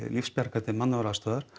lífsbjargar til mannúðaraðstoðar